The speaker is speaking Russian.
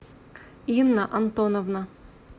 инна антоновна